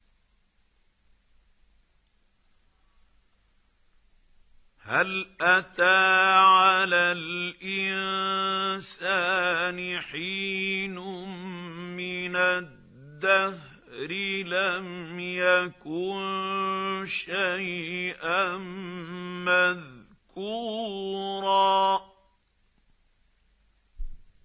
هَلْ أَتَىٰ عَلَى الْإِنسَانِ حِينٌ مِّنَ الدَّهْرِ لَمْ يَكُن شَيْئًا مَّذْكُورًا